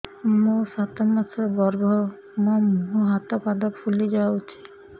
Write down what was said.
ମୋ ସାତ ମାସର ଗର୍ଭ ମୋ ମୁହଁ ହାତ ପାଦ ଫୁଲି ଯାଉଛି